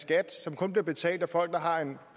skat som kun bliver betalt af folk der har en